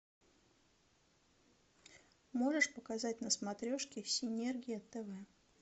можешь показать на смотрешке синергия тв